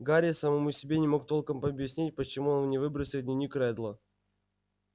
гарри самому себе не мог толком объяснить почему он не выбросил дневник реддла